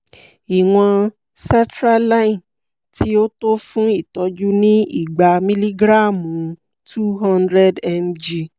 ìwọ̀n sertraline tí ó tó fún ìtọ́jú ni igba mílígráàmù - two hundred mg